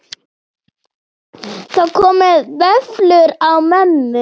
Það komu vöflur á mömmu.